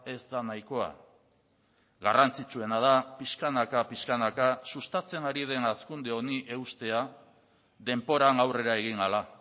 ez da nahikoa garrantzitsuena da pixkanaka pixkanaka sustatzen ari den hazkunde honi eustea denboran aurrera egin ahala